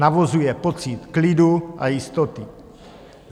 Navozuje pocit klidu a jistoty.